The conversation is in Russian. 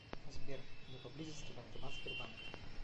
сбер где поблизости банкомат сбербанка